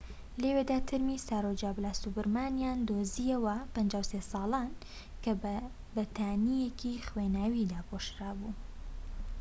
لەوێدا تەرمی سارۆجا بالاسوبرامانیان دۆزییەوە 53 ساڵان کە بە بەتانیەکی خوێناوی داپۆشرابوو